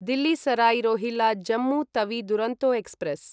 Delhi Sarai Rohilla Jammu Tawi Duronto express